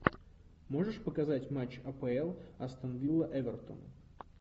можешь показать матч апл астон вилла эвертон